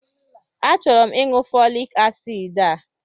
A chọrọ m ịṅụ fọlik asid a.